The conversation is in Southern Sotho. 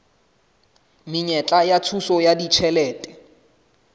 menyetla ya thuso ya ditjhelete